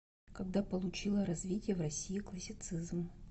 когда получило развитие в россии классицизм